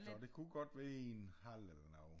Så det kunne godt være i en hal eller noget